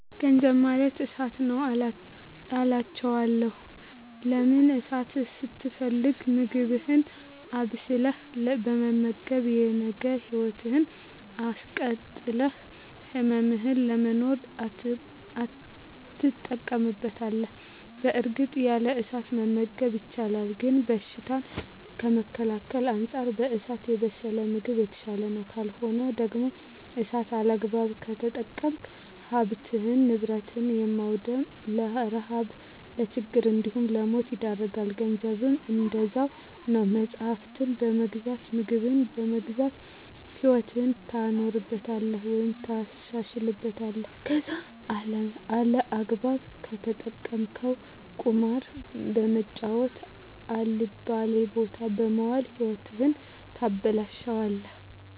ገንዘብ ማለት እሳት ነዉ አላቸዋለሁ። ለምን እሳትን ስትፈልግ ምግብህን አብስለህ በመመገብ የነገ ህይወትህን አስቀጥለህ ህልምህን ለመኖር ትጠቀምበታለህ በእርግጥ ያለ እሳት መመገብ ይቻላል ግን በሽታን ከመከላከል አንፃር በእሳት የበሰለ ምግብ የተሻለ ነዉ። ካልሆነ ደግሞ እሳትን ያለአግባብ ከተጠቀምክ ሀብትን ንብረት በማዉደም ለረሀብ ለችግር እንዲሁም ለሞት ይዳርጋል። ገንዘብም እንደዛዉ ነዉ መፅሀፍትን በመግዛት ምግብን በመግዛት ህይወትህን ታኖርበታለህ ወይም ታሻሽልበታለህ ከለዛ ያለአግባብ ከተጠቀምከዉ ቁማር በመጫወት አልባሌ ቦታ በመዋል ህይወትህን ታበላሸለህ።